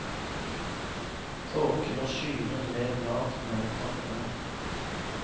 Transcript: Tåken og skyene drev lavt mellom toppene.